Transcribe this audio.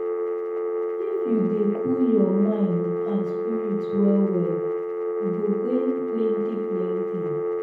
if you dey cool your mind and spirit well well you go gain plenty plenty.